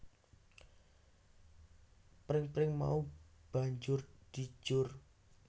Pring pring mau banjur dijor